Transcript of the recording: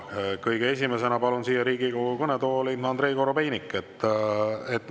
Kõige esimesena palun siia Riigikogu kõnetooli Andrei Korobeiniku.